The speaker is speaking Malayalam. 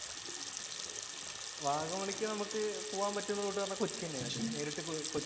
വാഗമണ്ണിലേക്ക് നമുക്ക് പോകാൻ പറ്റുന്ന റൂട്ട് പറയുന്നത് കൊച്ചി തന്നെയാണ്. നേരിട്ട് കൊച്ചി